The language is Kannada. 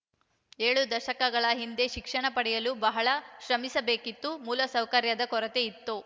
ಏಳು ದಶಕಗಳ ಹಿಂದೆ ಶಿಕ್ಷಣ ಪಡೆಯಲು ಬಹಳ ಶ್ರಮವಹಿಸಬೇಕಿತ್ತು ಮೂಲ ಸೌಕರ್ಯದ ಕೊರತೆ ಇತ್ತು